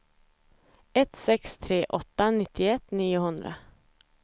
ett sex tre åtta nittioett niohundra